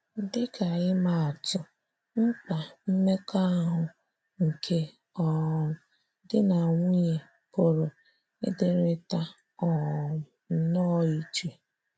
Dị ka imaatụ, mkpa mmekọahụ nke um di na nwunye pụrụ ịdịrịta um nnọọ iche.